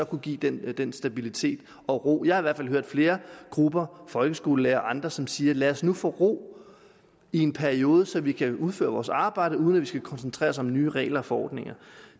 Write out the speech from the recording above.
kunne give den den stabilitet og ro jeg har i hvert fald hørt flere grupper folkeskolelærere og andre som siger lad os nu få ro i en periode så vi kan udføre vores arbejde uden at vi skal koncentrere os om nye regler og forordninger